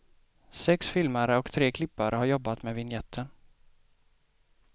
Sex filmare och tre klippare har jobbat med vinjetten.